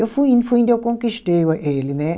Eu fui indo, fui indo e eu conquistei ele, né?